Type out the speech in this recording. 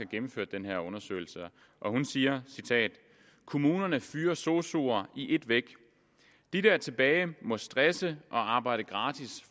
gennemført den her undersøgelse hun siger kommunerne fyrer sosuer i et væk de der er tilbage må stresse og arbejde gratis